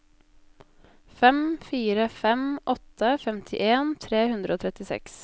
fem fire fem åtte femtien tre hundre og trettiseks